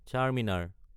Charminar